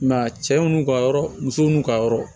a cɛw n'u ka yɔrɔ musow n'u ka yɔrɔ